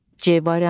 C variantı.